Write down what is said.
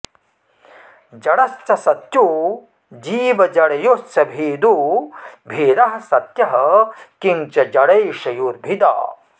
जडश्चसत्यो जीवजडयोश्च भेदो भेदः सत्यः किं च जडैशयोर्भिदा